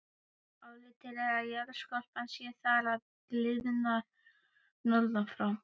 Álitið er að jarðskorpan sé þar að gliðna norðan frá.